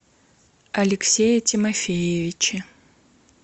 алексее тимофеевиче